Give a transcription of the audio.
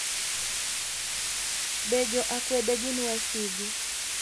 Be jo akwede gin wasigu?